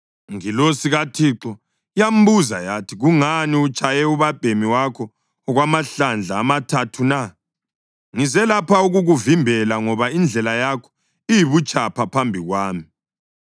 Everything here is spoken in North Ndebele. Ingilosi kaThixo yambuza yathi, “Kungani utshaye ubabhemi wakho okwamahlandla amathathu na? Ngize lapha ukukuvimbela ngoba indlela yakho iyibutshapha phambi kwami.